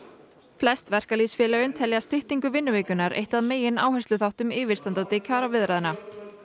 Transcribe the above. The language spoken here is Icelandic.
flest verkalýðsfélögin telja styttingu vinnuvikunnar eitt að megin áhersluþáttum yfirstandandi kjaraviðræðna